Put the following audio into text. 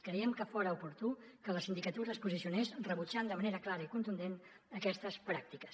creiem que fora oportú que la sindicatura es posicionés rebutjant de manera clara i contundent aquestes pràctiques